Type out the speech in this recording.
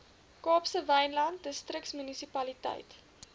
kaapse wynland distriksmunisipaliteit